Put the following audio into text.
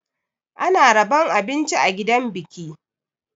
Ana rabon abinci a gidan biki.